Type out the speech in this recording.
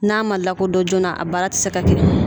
N'a ma lakodɔn joona a baara ti se ka kɛ